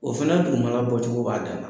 O fana dugumana bɔ cogo b'a dan ma.